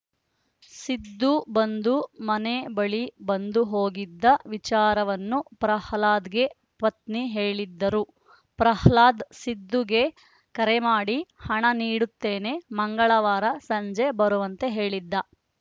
ಸಿದ್ದು ಬಂದು ಮನೆ ಬಳಿ ಬಂದು ಹೋಗಿದ್ದ ವಿಚಾರವನ್ನು ಪ್ರಹ್ಲಾದ್‌ಗೆ ಪತ್ನಿ ಹೇಳಿದ್ದರು ಪ್ರಹ್ಲಾದ್‌ ಸಿದ್ದುಗೆ ಕರೆ ಮಾಡಿ ಹಣ ನೀಡುತ್ತೇನೆ ಮಂಗಳವಾರ ಸಂಜೆ ಬರುವಂತೆ ಹೇಳಿದ್ದ